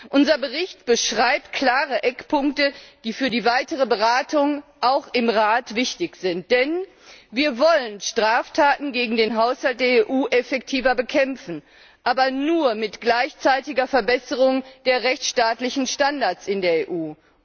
Unser Bericht beschreibt klare Eckpunkte, die für die weiteren Beratungen auch im Rat wichtig sind, denn wir wollen Straftaten gegen den Haushalt der EU effektiver bekämpfen, aber nur mit gleichzeitiger Verbesserung der rechtsstaatlichen Standards in der EU.